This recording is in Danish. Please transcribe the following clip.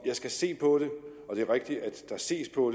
jeg skal se på det og det er rigtigt at der ses på